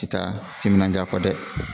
Ti taa timinandiya kɔ dɛ